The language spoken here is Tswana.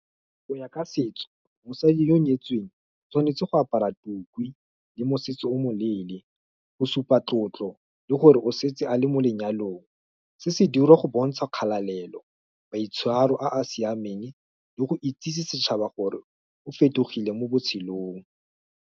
Go ya ka setso, mosadi yo o nyetsweng, tshwanetse go apara tukwi, le mosese o moleele, go supa tlotlo, le gore o setse a le mo lenyalong, se se dira go bontsha kgathalelo, maitshwaro a a siameng, le go bontsha setšhaba gore, o fetogile mo botshelong.